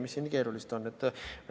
Mis siin keerulist on?